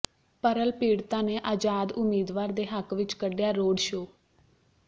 Pearl ਪੀੜਤਾਂ ਨੇ ਆਜ਼ਾਦ ਉਮੀਦਵਾਰ ਦੇ ਹੱਕ ਵਿਚ ਕੱਢਿਆ ਰੋਡ ਸ਼ੋਅ